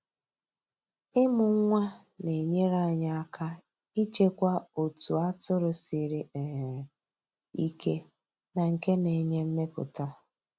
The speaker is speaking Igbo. Ịmụ nwa na-enyere anyị aka ịchekwa otu atụrụ siri um ike na nke na-enye mmepụta.